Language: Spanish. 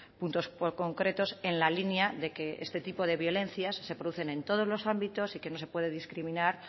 puntos concretos en la línea de que este tipo de violencias se producen en todos los ámbitos y que no se puede discriminar